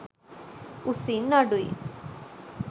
උසින් අඩුයි.